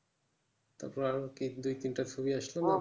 তারপরে আরো দুই তিনটে ছবি আসলো